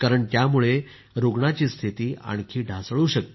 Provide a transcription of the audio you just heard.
यामुळे रुग्णाची स्थिती आणखी ढासळू शकते